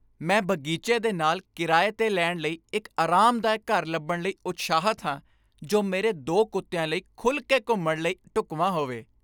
ਮੈਂ ਬਗੀਚੇ ਦੇ ਨਾਲ ਕਿਰਾਏ 'ਤੇ ਲੈਣ ਲਈ ਇੱਕ ਆਰਾਮਦਾਇਕ ਘਰ ਲੱਭਣ ਲਈ ਉਤਸ਼ਾਹਿਤ ਹਾਂ, ਜੋ ਮੇਰੇ ਦੋ ਕੁੱਤਿਆਂ ਲਈ ਖੁੱਲ੍ਹ ਕੇ ਘੁੰਮਣ ਲਈ ਢੁੱਕਵਾਂ ਹੋਵੇ ।